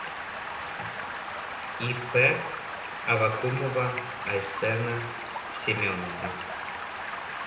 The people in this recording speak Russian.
ип аввакумова айсена семеновна